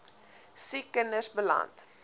siek kinders beland